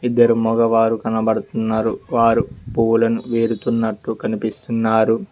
ఇద్దరు మగవారు కనబడుతున్నారు వారు పువ్వులను వేరుతున్నట్లు కనిపిస్తున్నారు.